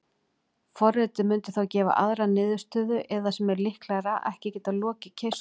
Forritið mundi þá gefa aðra niðurstöðu eða, sem er líklegra, ekki geta lokið keyrslu.